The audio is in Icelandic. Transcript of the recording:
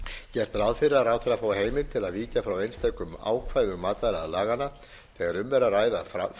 gert ráð fyrir að ráðherra fái heimild til að víkja frá einstökum ákvæðum matvælalaganna þegar um er að